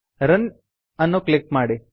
run ಅನ್ನು click ಮಾಡಿ